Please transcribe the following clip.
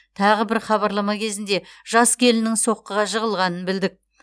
тағы бір хабарлама кезінде жас келіннің соққыға жығылғанын білдік